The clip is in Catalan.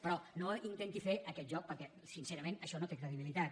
però no intenti fer aquest joc perquè sincerament això no té credibilitat